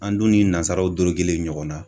An dun ni nazaraw dorogelen ɲɔgɔn na.